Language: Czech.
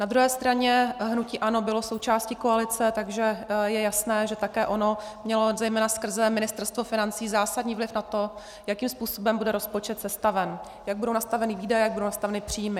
Na druhé straně hnutí ANO bylo součástí koalice, takže je jasné, že také ono mělo zejména skrze Ministerstvo financí zásadní vliv na to, jakým způsobem bude rozpočet sestaven, jak budou nastaveny výdaje, jak budou nastaveny příjmy.